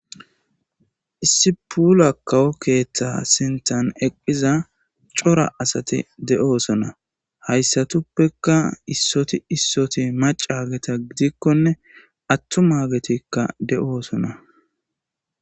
issi puula kawo keeththa sintan eqqihiza cora asati de7oosona hayssatuppekka issoti issoti macageta gidikkone attu maagetikka de7oosona